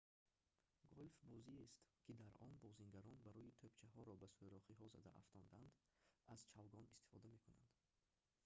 гольф бозиест ки дар он бозингарон барои тӯбчаҳоро ба сӯрохиҳо зада афтонданд аз чавгон истифода мекунанд